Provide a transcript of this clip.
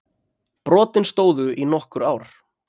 Brotin stóðu í nokkur ár